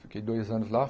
Fiquei dois anos lá.